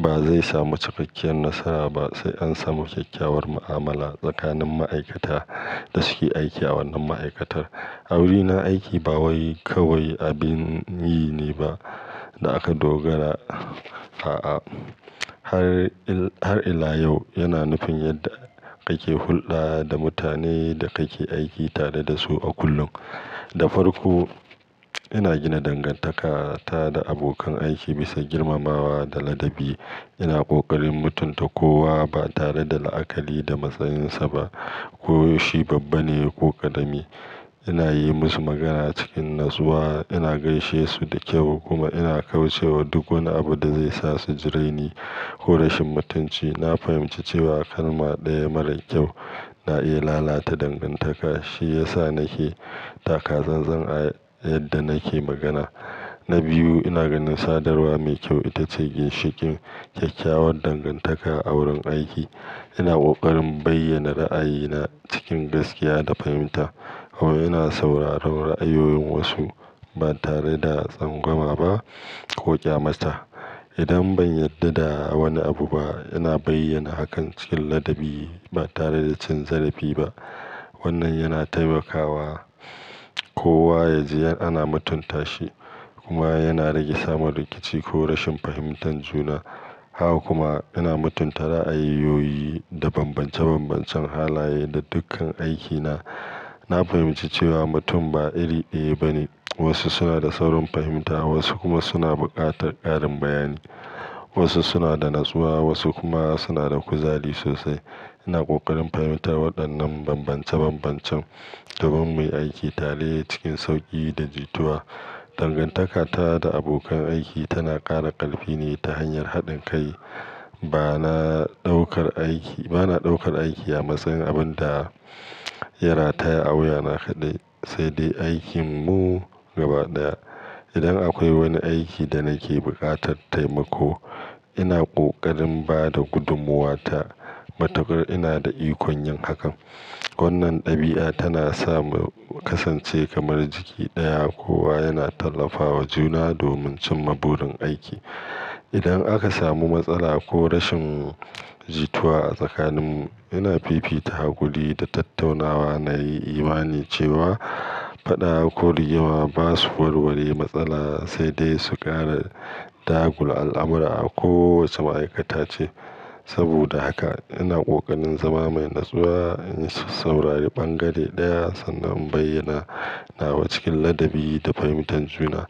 ba zai samu cikakkiyar nasara ba sai an samu kyakkyawar mu'amala tsakanin ma'aikata da suke aiki a wannan ma'aikatar. A wurina, aiki ba kawai, kawai abin yi ne ba da aka dogara, a'a. Har, har ila yau yana nufin yadda kake hulɗa da mutanen da kake aiki tare da su a kullum. Da farko, ina gina dangantaka ta da abokan aiki bisa girmamawa da ladabi. Ina ƙoƙarin mutunta kowa ba tare da la'akali da matsayinsa ba, ko shi babba ne ko ƙarami. Ina yi musu magana cikin natsuwa, ina gaishe su da kyau kuma ina kauce wa duk wani abu da zai sa su jire ni ko rashin mutunci. Na fahimci cewa kalma ɗaya marar kyau na iya lalata dangantaka, shi ya sa nake taka zanzan a yadda nake magana. Na biyu, ina ganin sadarwa mai kyau ita ce ginshiƙin kyakkyawar dangantaka a wurin aiki. Ina ƙoƙarin bayyana ra'ayina cikin gaskiya da fahimta, kuma ina sauraron ra'ayoyin wasu ba tare da tsangwama ba ko ƙyamata. Idan ban yarda da wani abu ba, ina bayyana hakan cikin ladabi ba tare da cin zarafi ba. Wannan yana taimakawa kowa ya ji ana mutunta shi kuma yana rage samun rikici ko rashin fahimtar juna. Haka kuma ina mutunta ra'ayoyoyi da bambance bambancen halaye na dukkan aikina. Na fahimci cewa mutum ba iri ɗaya bane. Wasu suna da saurin fahimta, wasu kuma suna buƙatar ƙarin bayani. Wasu suna da natsuwa, wasu kuma suna da kuzari sosai. Ina ƙoƙarin fahimtar waɗannan bambance bambancen domin mu yi aiki tare cikin sauƙi da jituwa. Dangantaka ta da abokan aiki tana ƙara ƙarfi ne ta hanyar haɗin kai. Ba na ɗaukar aiki, ba na ɗaukar aiki a matsayin abin da ya rataya a wuya na kaɗai, sai dai aikin mu gaba ɗaya. Idan akwai wani aiki da nake buƙatar taimako, ina ƙoƙarin ba da gudummuwa ta matukar ina da ikon yin hakan. Wannan ɗabi'a tana sa mu kasance kamar jiki ɗaya, kowa yana tallafawa juna domin cimma burin aiki. Idan aka samu matsala ko rashin jituwa a tsakaninmu, ina fifita hakuri da tattaunawa. Na yi imani cewa faɗa ko rigima ba su warware matsala, sai dai su ƙara tagula al'amura a kowace ma'aikata ce. Saboda haka ina ƙoƙarin zama mai natsuwa, in saurari ɓangare ɗaya sannan in bayyana nawa cikin ladabi da fahimtar juna.